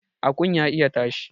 Akun ya iya tashi